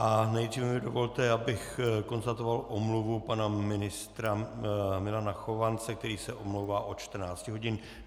A nejdříve mi dovolte, abych konstatoval omluvu pana ministra Milana Chovance, který se omlouvá od 14 hodin.